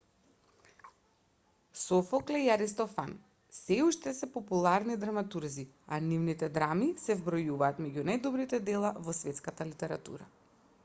софокле и аристофан сѐ уште се популарни драматурзи а нивните драми се вбројуваат меѓу најдобрите дела во светската литература